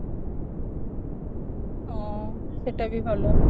ହଁ ସେଟା ବି ଭଲ